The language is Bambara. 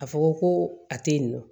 A fɔ ko a tɛ yen nɔ